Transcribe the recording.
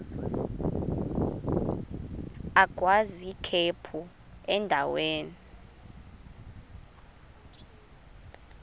agwaz ikhephu endaweni